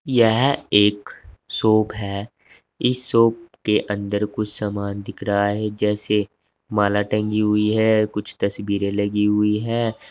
यह एक शॉप है इस शॉप के अंदर कुछ सामान दिखा रहा है जैसे माला टंगी हुई है कुछ तस्वीरें लगी हुई है।